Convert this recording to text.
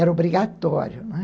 Era obrigatório, né?